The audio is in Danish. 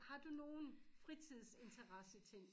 Har du nogen fritidsintresseting?